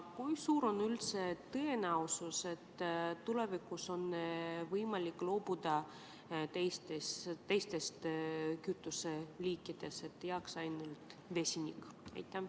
Kui suur on tõenäosus, et tulevikus on võimalik loobuda teistest kütuseliikidest, nii et jääks ainult vesinik?